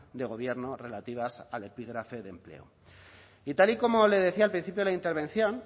de gobierno relativas al epígrafe de empleo y tal y como le decía al principio de la intervención